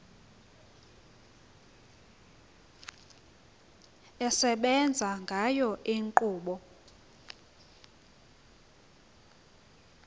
esebenza ngayo inkqubo